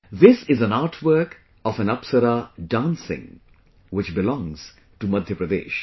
This is an artwork of an 'Apsara' dancing, which belongs to Madhya Pradesh